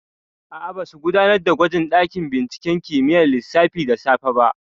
Aa, ba su gudanar da gwaji a ɗakin binciken kimiyyar lissafi da safe ba